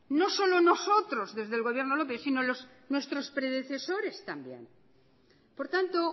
no solo nosotros desde el gobierno lópez sino nuestros predecesores también por tanto